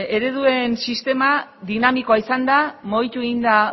ereduen sistema dinamikoa izan da mugitu egin da